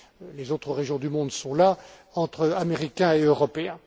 Les autres régions du monde sont là, entre Américains et Européens.